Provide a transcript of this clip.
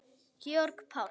Georg Páll.